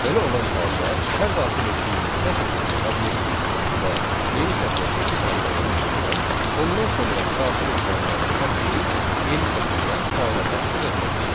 Belə olan halda hər daxil etdiyimiz sətr tipli obyektin sonunda yeni sətrə keçid əmri olduğundan, ondan sonrakı daxil edilənlərin hər biri yeni sətirdən fayla daxil ediləcək.